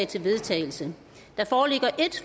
til vedtagelse der foreligger ét